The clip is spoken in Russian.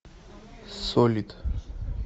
солит